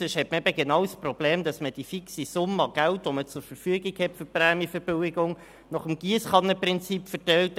Sonst hat man genau das Problem, dass man die fixe Summe an Geld für die Prämienverbilligungen nach dem Giesskannenprinzip verteilt.